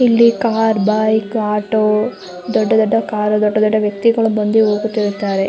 ಇಲ್ಲಿ car bike auto ದೊಡ್ಡ ದೊಡ್ಡ್ ಕಾರ್ ದೊಡ್ಡ ದೊಡ್ಡ ವ್ಯಕ್ತಿಗಳು ಬಂದು ಹೋಗುತ್ತಿರುತ್ತಾರೆ --